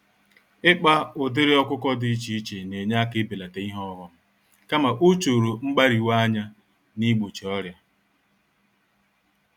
Ịkpa ụdịrị ọkụkọ dị iche iche nenye àkà ibelata ihe ọghom, kama ochoro mgbáríwa-anya nigbochi ọrịa.